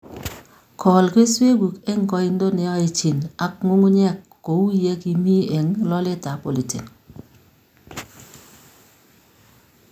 gol kesweguk eng' koindo ne aechin ak ng'ung'unyek ko uu ye ki mi eng' loletap politin